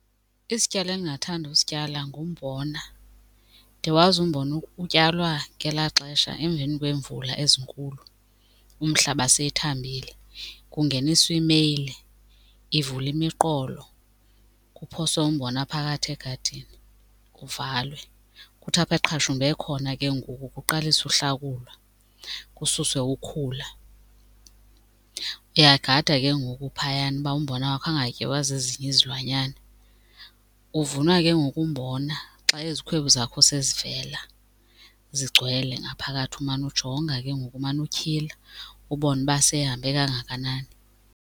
Isityalo endingathanda usityala ngumbona. Ndiyawazi umbona utyalwa ngelaa xesha emveni kweemvula ezinkulu umhlaba sethambile. Kungeniswa imeyile ivule imiqolo, kuphoswe umbona phakathi egadini kuvalwe. Kuthi apho eqhashumbe khona ke ngoku kuqaliswe uhlakulwa kususwe ukhula. Uyagada ke ngoku phayana uba umbona wakho angatyiwa zezinye izilwanyana. Uvunwa ke ngoku umbona xa izikhwebu zakho sezivela zigcwele ngaphakathi. Umane ujonga ke ngoku umane utyhila, ubone uba sehambe kangakanani.